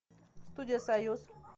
студия союз